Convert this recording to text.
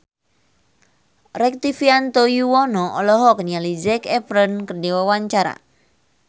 Rektivianto Yoewono olohok ningali Zac Efron keur diwawancara